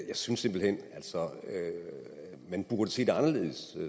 jeg synes simpelt hen at man burde se det anderledes